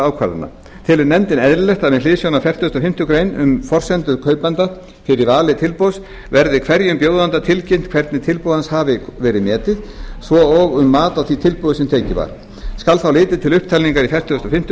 ákvarðana telur nefndin eðlilegt að með hliðsjón af fertugasta og fimmtu grein um forsendur kaupanda fyrir vali tilboðs verði hverjum bjóðanda tilkynnt hvernig tilboð hans hafi verið metið svo og um mat á því tilboði sem tekið var skal þá litið til upptalningar í fertugustu og fimmtu